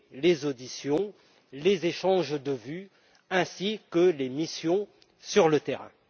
les auditions, les échanges de vues ainsi que les missions sur le terrain.